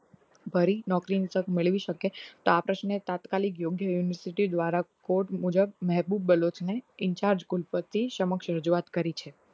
ભરી નોકરીમાં મેળવી શકે તો આકાશને તાત્કાલિત બીજી university દ્વારા કોડ મુજબ મહેબુબ ને in charge ગુણપત્તી સમક્ષ રજૂઆત કરી છે